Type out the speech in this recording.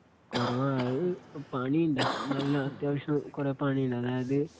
കൊറവ അത് പണിയുണ്ടേ നല്ല അത്യാവശ്യം കുറെ പണിയുണ്ട് അതായതു